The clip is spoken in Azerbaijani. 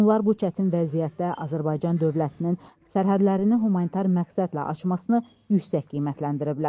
Onlar bu çətin vəziyyətdə Azərbaycan dövlətinin sərhədlərini humanitar məqsədlə açmasını yüksək qiymətləndiriblər.